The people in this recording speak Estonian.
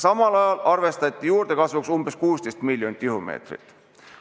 Samal ajal arvestati juurdekasvuks 16 miljonit tihumeetrit.